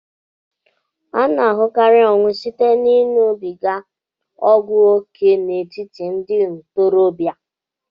A na-ahụkarị ọnwụ site ịṅụbiga ọgwụ ókè n'etiti ndị ntorobịa